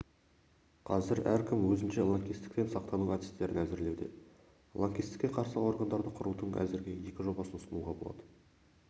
қазір әркім өзінше лаңкестіктен сақтану әдістерін әзірлеуде лаңкестікке қарсы органды құрудың әзірге екі жобасын ұсынуға болады